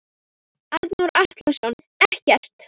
Arnór Atlason ekkert.